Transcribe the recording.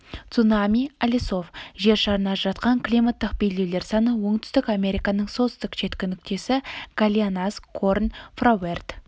цунами алисов жер шарын ажыратқан климаттық белдеулер саны оңтүстік американың солтүстік шеткі нүктесі гальинас горн фроуэрд